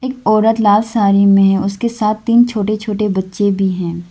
औरत लाल साड़ी में है उसके साथ तीन छोटे छोटे बच्चे भी हैं।